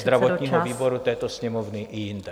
... zdravotního výboru této Sněmovny i jinde.